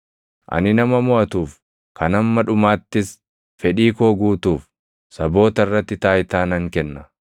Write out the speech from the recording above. Ani nama moʼatuuf, kan hamma dhumaattis fedhii koo guutuuf saboota irratti taayitaa nan kenna.